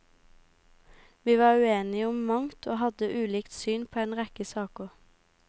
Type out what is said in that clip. Vi var uenige om mangt og hadde ulikt syn på en rekke saker.